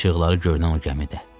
İşıqları görünən o gəmidə.